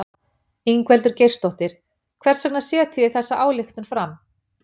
Ingveldur Geirsdóttir: Hvers vegna setjið þið þessa ályktun fram?